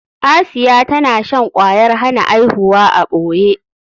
Asiya tana shan kwayar hana aihuwa a ɓoye.